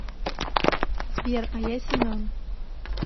сбер а я семен